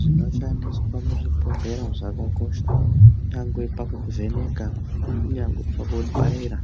Zvinoshandisa muzvibhodhlera zvakakosha kunyangwe pakuvheneka kunyangwe pakubaira.